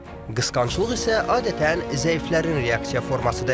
Qısqanclıq isə adətən zəiflərin reaksiya formasıdır.